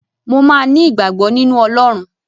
Mò máa ní ìgbàgbọ́ nínú Ọlọ́run.